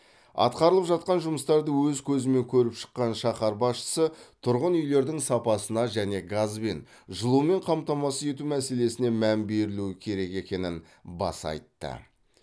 атқарылып жатқан жұмыстарды өз көзімен көріп шыққан шаһар басшысы тұрғын үйлердің сапасына және газбен жылумен қамтамасыз ету мәселесіне мән берілу керек екенін баса айтты